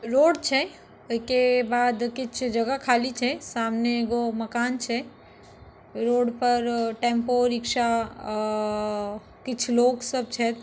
Road छै ओयके बाद किछ जगह खाली छै। सामने एगो मकान छै। रोड पर टेम्पो रिक्शा अ किछ लोग सब छै।